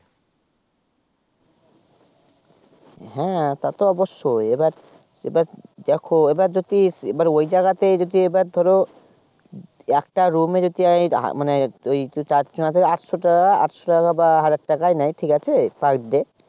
হ্যা তা তো অবশ্যই এবার এবার দেখো এবার যদি ইস ঐ যায়গাতে যদি এবার ধরো একটা room এ আই মানে চার ছয় আটশো টাকা বা হাজার টাকা নেয় ঠিক আছে per day